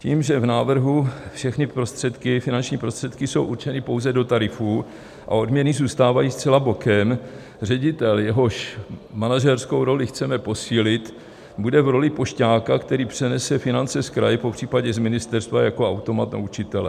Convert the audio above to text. Tím, že v návrhu všechny finanční prostředky jsou určeny pouze do tarifů a odměny zůstávají zcela bokem, ředitel, jehož manažerskou roli chceme posílit, bude v roli pošťáka, který přenese finance z kraje, popřípadě z ministerstva, jako automat na učitele.